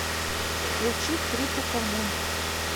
включи трипикал мун